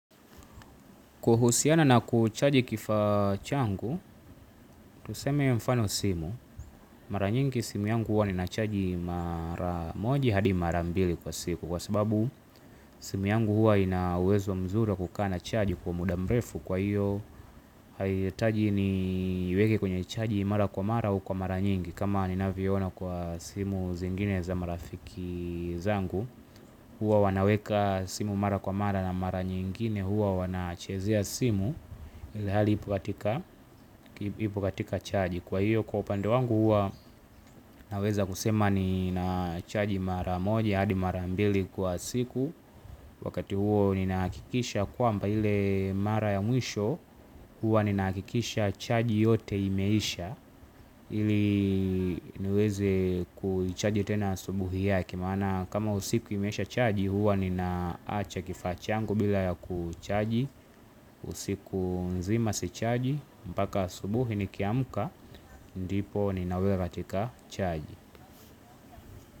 Kuhusiana na kuchaji kifaa changu, tuseme mfano simu. Mara nyingi simu yangu huwa ninachaji mara moja hadi mara mbili kwa siku kwa sababu simu yangu huwa ina uwezo mzuri wa kukaa na chaji kwa muda mrefu kwa hiyo haihitaji niiweke kwenye chaji mara kwa mara au kwa mara nyingi. Kama ninavyoona kwa simu zingine za marafiki zangu huwa wanaweka simu mara kwa mara na mara nyingine huwa wanachezea simu. Ilhali ipo katika chaji kwa hio kwa upande wangu huwa naweza kusema ninachaji mara moja hadi mara mbili kwa siku. Wakati huo ninahakikisha kwamba ile mara ya mwisho huwa ninahakikisha chaji yote imeisha ili niweze kuichaji tena asubuhi yake maana kama usiku imeshachaji huwa ninaacha kifaa changu bila ya kuichaji. Usiku nzima sichaji mpaka asubuhi nikiamka ndipo ninaweka katika chaji.